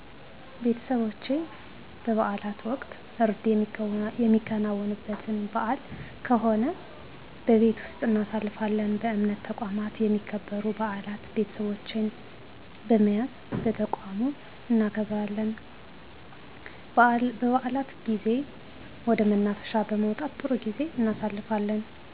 ቤተሰቦቸ በበዓላት ወቅት እርድ የሚከናወንበት በዓል ከሆነ በቤት ወስጥ እናሳልፋለን በእምነት ተቋማት የሚከበሩ በዓላት ቤተሰቦቸን በመያዝ በተቋሙ እናከብራለን በዓላት ጊዜ ወደ መናፈሻ በመውጣት ጥሩ ጊዜ እናሣልፋለን